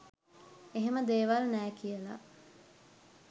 එහෙම දේවල් නෑ කියල.